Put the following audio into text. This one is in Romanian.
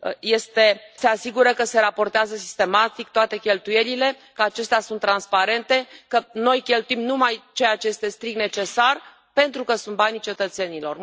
Se asigură că se raportează sistematic toate cheltuielile, că acestea sunt transparente, că noi cheltuim numai ceea ce este strict necesar, pentru că sunt banii cetățenilor?